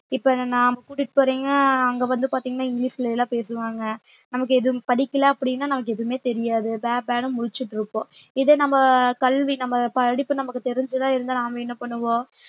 இப்ப நாம் கூட்டிட்டு போறீங்க அங்க வந்து பாத்தீங்கன்னா இங்கிலிஷ்ல எல்லாம் பேசுவாங்க நமக்கு எதுவும் படிக்கல அப்படின்னா நமக்கு எதுவுமே தெரியாது ப்பே ப்பே முழிச்சிட்டு இருக்போம் இதே நம்ம கல்வி நம்ம படிப்பு நமக்கு தெரிஞ்சுதான் இருந்தா நாம என்ன பண்ணுவோம்